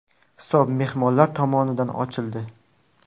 Hisob mehmonlar tomonidan ochildi.